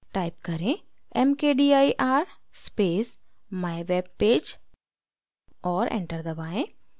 type करें: mkdir space mywebpage और enter दबाएँ